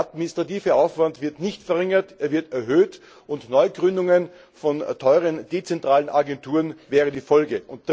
Der administrative Aufwand wird nicht verringert, er wird erhöht und Neugründungen von teuren dezentralen Agenturen wären die Folge.